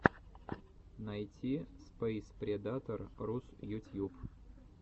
найти спэйспредатор рус ютьюб